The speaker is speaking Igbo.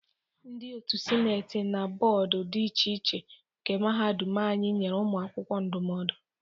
Ndị otu Sineti na bọọdụ dị iche iche nke Mahadum anyi nyere ụmụ akwụkwọ ndụmọdụ.